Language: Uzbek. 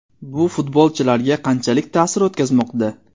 Bu futbolchilarga qanchalik ta’sir o‘tkazmoqda?